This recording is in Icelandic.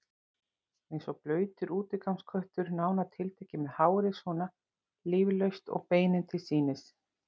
Eins og blautur útigangsköttur, nánar tiltekið, með hárið svona líflaust og beinin til sýnis.